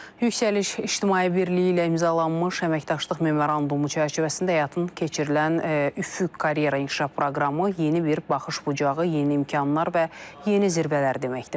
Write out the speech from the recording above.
Yüksəliş İctimai Birliyi ilə imzalanmış əməkdaşlıq memorandumu çərçivəsində həyata keçirilən Üfüq karyera inkişaf proqramı yeni bir baxış bucağı, yeni imkanlar və yeni zirvələr deməkdir.